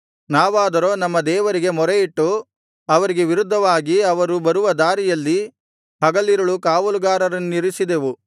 ನಾವಾದರೋ ನಮ್ಮ ದೇವರಿಗೆ ಮೊರೆಯಿಟ್ಟು ಅವರಿಗೆ ವಿರುದ್ಧವಾಗಿ ಅವರು ಬರುವ ದಾರಿಯಲ್ಲಿ ಹಗಲಿರುಳು ಕಾವಲುಗಾರರನ್ನಿರಿಸಿದೆವು